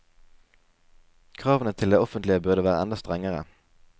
Kravene til det offentlige burde være enda strengere.